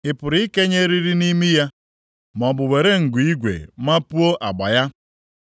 Ị pụrụ ikenye eriri nʼimi ya maọbụ were ngu igwe mapuo agba ya?